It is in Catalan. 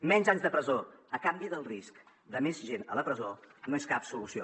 menys anys de presó a canvi del risc de més gent a la presó no és cap solució